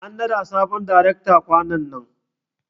An naɗa sabon darekta ƙwanan nan.